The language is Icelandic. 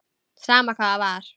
Sama hvað það var.